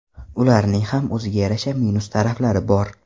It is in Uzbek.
Ularning ham o‘ziga yarasha minus taraflari bor.